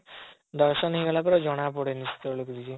ଦର୍ଶନ ହେଇଗଲା ପରେ ଜଣା ପଡ଼େନି ସେତେବେଳେ କିଛି